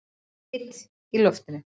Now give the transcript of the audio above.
Þyt í loftinu?